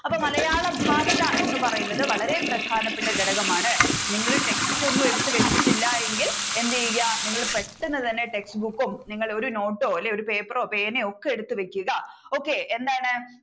അപ്പൊ മലയാള ഭാഷ എന്ന് പറയുന്നത് വളരെ പ്രധാനപ്പെട്ട ഘടകമാണ്. നിങ്ങളു text ഒന്നും എടുത്ത് വെച്ചിട്ടില്ല എങ്കിൽ എന്ത് ചെയ്യുക നിങ്ങൾ പെട്ടെന്ന് തന്നെ textbook ഉം നിങ്ങൾ ഒരു note ഓ paper ഓ പേനയോ ഒക്കെ എടുത്തുവെക്കുക okay എന്താണ്